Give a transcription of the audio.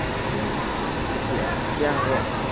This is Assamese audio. উম তেতিয়া তেতিয়া হব